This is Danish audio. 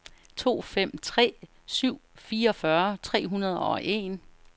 to fem tre syv fireogfyrre tre hundrede og en